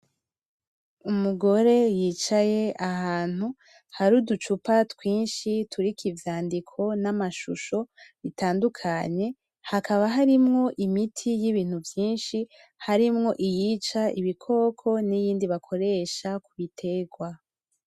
Umugore y'icaye ahantu hari uducupa twinshi turiko ivyandiko n'amashusho bitandukanye hakaba harimwo imiti y'ibintu vyinshi, harimwo iyica ibikoko n'iyindi bakoresha ku bitegwa.